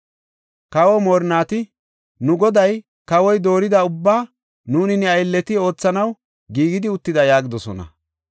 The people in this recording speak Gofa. Kawa moorinnati, “Nu goday, kawoy doorida ubbaa nuuni ne aylleti oothanaw giigidi uttida” yaagidosona.